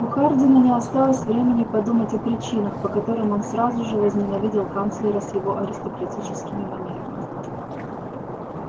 у хардина не осталось времени подумать о причинах по которым он сразу же возненавидел канцлера с его аристократическими манерами